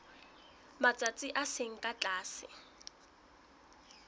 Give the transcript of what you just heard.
matsatsi a seng ka tlase